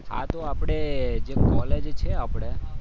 આ તો આપણે કોલેજ છે આપણે.